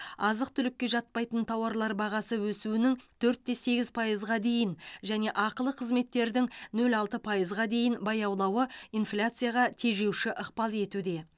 азық түлікке жатпайтын тауарлар бағасы өсуінің төртте сегіз пайызға дейін және ақылы қызметтердің нөл алты пайызға дейін баяулауы инфляцияға тежеуші ықпал етуде